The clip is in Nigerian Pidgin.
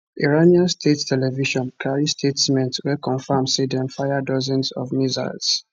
iranian state television carry statement wey confam say dem fire dozens of missiles